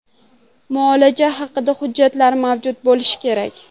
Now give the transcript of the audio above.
Muolaja haqida hujjatlar mavjud bo‘lishi kerak.